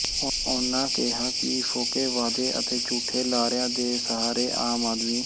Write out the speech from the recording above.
ਉਨ੍ਹਾਂ ਕਿਹਾ ਕਿ ਫੋਕੇ ਵਾਅਦੇ ਅਤੇ ਝੂਠੇ ਲਾਰਿਆਂ ਦੇ ਸਹਾਰੇ ਆਮ ਆਦਮੀ